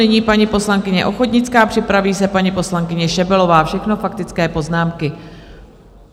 Nyní paní poslankyně Ochodnická, připraví se paní poslankyně Šebelová, všechno faktické poznámky.